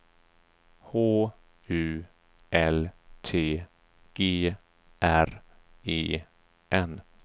H U L T G R E N